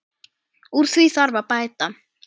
Úr því þarf að bæta.